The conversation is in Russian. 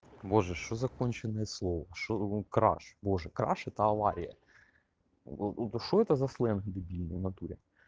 боже что за конченное слово что краш боже краш это авария что это за сленг дебильный в натуре